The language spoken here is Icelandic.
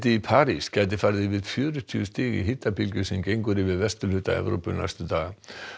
í París gæti farið yfir fjörutíu stig í hitabylgju sem ganga mun yfir vesturhluta Evrópu næstu daga